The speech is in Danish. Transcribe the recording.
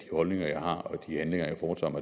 holdninger jeg har og de handlinger jeg foretager